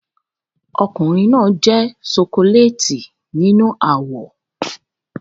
Ọkùnrin náà jẹ́ ṣokoléètì nínú àwọ̀